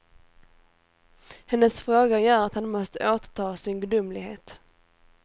Hennes fråga gör att han måste återta sin gudomlighet.